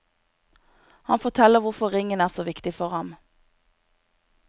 Han forteller hvorfor ringen er så viktig for ham.